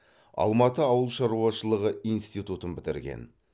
алматы ауыл шаруашылығы институтын бітірген